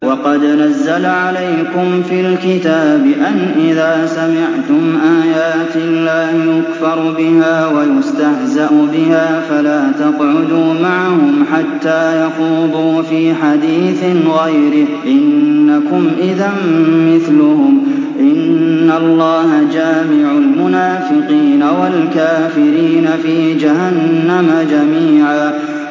وَقَدْ نَزَّلَ عَلَيْكُمْ فِي الْكِتَابِ أَنْ إِذَا سَمِعْتُمْ آيَاتِ اللَّهِ يُكْفَرُ بِهَا وَيُسْتَهْزَأُ بِهَا فَلَا تَقْعُدُوا مَعَهُمْ حَتَّىٰ يَخُوضُوا فِي حَدِيثٍ غَيْرِهِ ۚ إِنَّكُمْ إِذًا مِّثْلُهُمْ ۗ إِنَّ اللَّهَ جَامِعُ الْمُنَافِقِينَ وَالْكَافِرِينَ فِي جَهَنَّمَ جَمِيعًا